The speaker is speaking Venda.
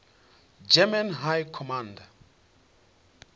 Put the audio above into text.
german high command